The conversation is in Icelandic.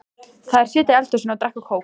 Þær sitja í eldhúsinu og drekka kók.